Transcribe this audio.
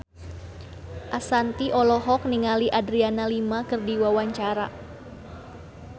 Ashanti olohok ningali Adriana Lima keur diwawancara